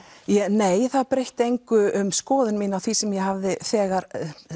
nei það breytti engu um skoðun mína sem ég hafði þegar